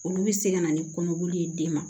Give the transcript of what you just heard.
Olu bɛ se ka na ni kɔnɔboli ye den ma